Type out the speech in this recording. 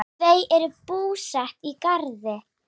Þau eru búsett í Garði.